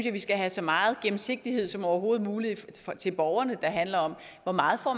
at vi skal have så meget gennemsigtighed som overhovedet muligt til borgerne handler om hvor meget